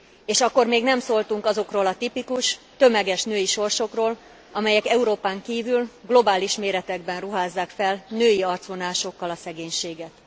És akkor még nem szóltunk azokról a tipikus, tömeges női sorsokról, amelyek Európán kívül globális méretekben ruházzák fel női arcvonásokkal a szegénységet.